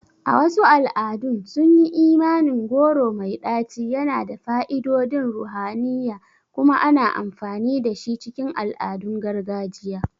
A wasu al'adun, sunyi imanin goro mai ɗaci yana da fa'idodin ruhaniya kuma ana amfani dashi cikin al'adun gargajiya.